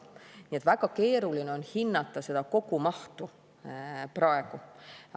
Nii et väga keeruline on hinnata seda kogumahtu praegu.